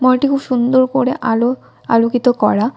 মলটি খুব সুন্দর করে আলো আলোকিত করা।